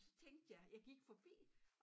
Og så tænkte jeg jeg gik forbi